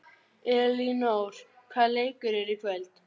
Elínór, hvaða leikir eru í kvöld?